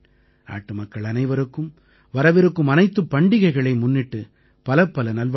நாட்டுமக்கள் அனைவருக்கும் வரவிருக்கும் அனைத்துப் பண்டிகைகளை முன்னிட்டு பலப்பல நல்வாழ்த்துக்கள்